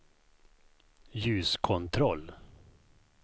ljuskontroll